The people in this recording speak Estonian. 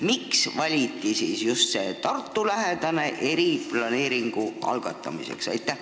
Miks valiti just Tartu lähikond eriplaneeringu algatamiseks?